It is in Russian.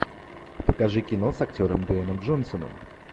покажи кино с актером дуэйном джонсоном